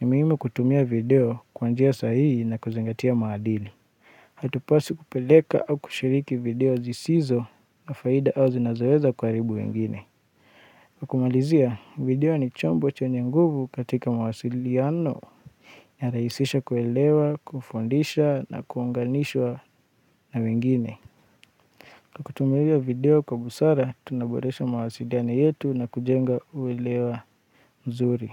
ni muhimu kutumia video kwanjia sahihi na kuzingatia maadili. Hatupaswi kupeleka au kushiriki video zisizo na faida au zinazoweza kuharibu wengine. Kwa kumalizia, video ni chombo chenye nguvu katika mawasiliano ya rahisisha kuelewa, kufundisha na kuunganishwa na wengine. Tukitumia video kwa busara, tunaboresha mawasiliano yetu na kujenga uelewa mzuri.